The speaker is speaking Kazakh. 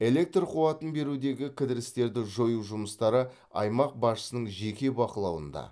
электр қуатын берудегі кідірістерді жою жұмыстары аймақ басшысының жеке бақылауында